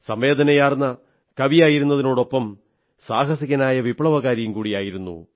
സംവേദനയാർന്ന കവിയായിരുന്നതിനൊപ്പം സാഹസികനായ വിപ്ലവകാരിയും കൂടിയായിരുന്നു